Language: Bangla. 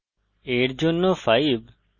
a র জন্য 5